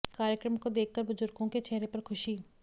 कार्यक्रम को देखकर बुजुर्गों के चेहरे पर खुशी